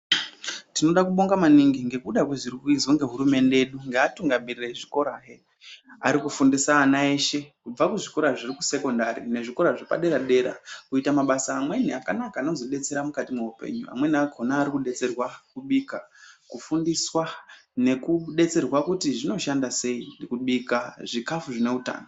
Tinoda kubonga maningi ngekuda kwezvirikuizwa ngehurumende yedu ngeatungamiriri ezvikorahe. Arikufundisa ana eshe kubva kuzvikora zviri kusekondari nezvikora zvepadera-dera. Kuita basa amweni akanaka anozodetsera mukati mweupenyu. Amweni akona arikudetserwa kubika ,kufundiswa nekubetserwa kuti zvinoshanda sei kubika zvikafu zvine utano.